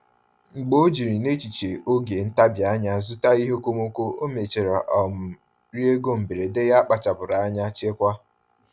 Mgbe o jiri n’echiche oge ntabi anya zụta ihe okomoko, ọ mechara um rie ego mberede ya kpachapụrụ anya chekwaa.